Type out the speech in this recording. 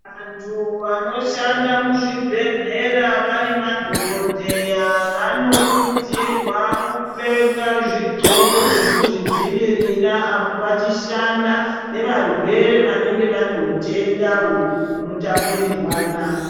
Antu anoshanda muzvibhehlera vari madhokodheya vanokurudzirwa kupfeka zvidxoko zvekuzvidzivirira apo vachishanda nevarwere vanenge vane hutenda hunotapurirwana .